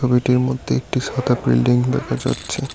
ছবিটির মধ্যে একটি সাদা বিল্ডিং দেখা যাচ্ছে।